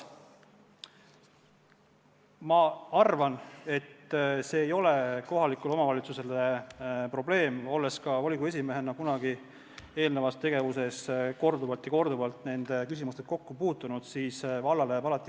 Ma arvan, olles ka volikogu esimehena eelnevas tegevuses korduvalt ja korduvalt nende küsimustega kokku puutunud, et see ei ole kohalikule omavalitsusele probleem.